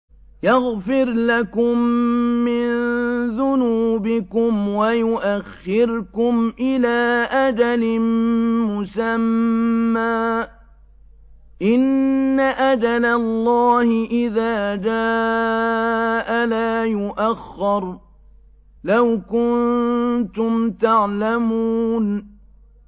يَغْفِرْ لَكُم مِّن ذُنُوبِكُمْ وَيُؤَخِّرْكُمْ إِلَىٰ أَجَلٍ مُّسَمًّى ۚ إِنَّ أَجَلَ اللَّهِ إِذَا جَاءَ لَا يُؤَخَّرُ ۖ لَوْ كُنتُمْ تَعْلَمُونَ